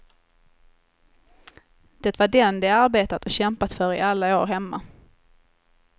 Det var den de arbetat och kämpat för i alla år hemma.